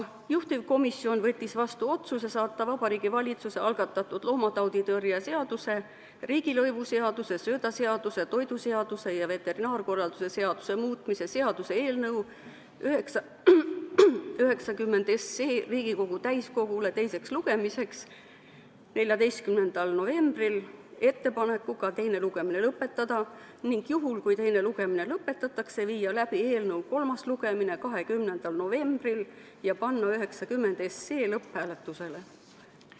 Juhtivkomisjon võttis vastu otsuse saata Vabariigi Valitsuse algatatud loomatauditõrje seaduse, riigilõivuseaduse, söödaseaduse, toiduseaduse ja veterinaarkorralduse seaduse muutmise seaduse eelnõu 90 Riigikogu täiskogule teiseks lugemiseks 14. novembriks ettepanekuga teine lugemine lõpetada ning juhul, kui teine lugemine lõpetatakse, viia läbi eelnõu kolmas lugemine 20. novembril ja panna seaduseelnõu 90 lõpphääletusele.